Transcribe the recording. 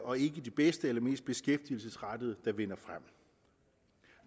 og ikke de bedste eller mest beskæftigelsesrettede der vinder frem